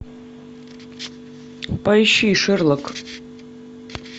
поищи шерлок